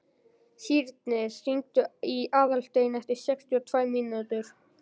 Sírnir, hringdu í Aðalstein eftir sextíu og tvær mínútur.